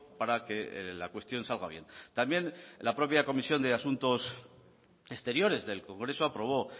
para que la cuestión salga bien también la propia comisión de asuntos exteriores del congreso aprobó